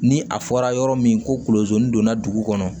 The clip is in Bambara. Ni a fɔra yɔrɔ min ko kolozi donna dugu kɔnɔ